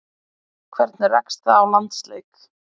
Hvernig rekst það á landsleiki?